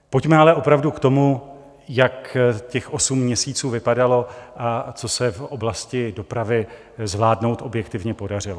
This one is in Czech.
Pojďme ale opravdu k tomu, jak těch osm měsíců vypadalo a co se v oblasti dopravy zvládnout objektivně podařilo.